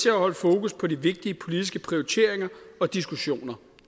at holde fokus på de vigtige politiske prioriteringer og diskussioner